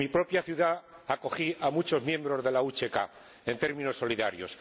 En mi propia ciudad acogí a muchos miembros del UCK en términos solidarios.